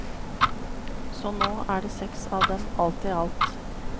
Så nå er det seks av dem alt i alt.